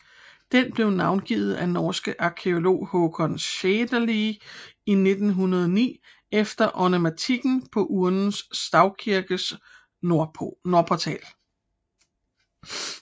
Den blev navngivet af norske arkæolog Haakon Shetelig i 1909 efter ornamentikken på Urnes stavkirke nordportal